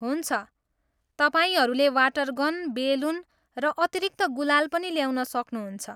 हुन्छ, तपाईँहरूले water gun, balloon र अतिरिक्त गुलाल पनि ल्याउन सक्नुहुन्छ।